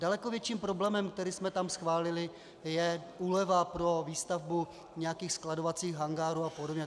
Daleko větším problém, který jsme tam schválili, je úleva pro výstavbu nějakých skladovacích hangárů a podobně.